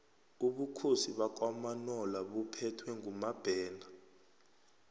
ubukhosi bakwamanola buphethwe ngumabhena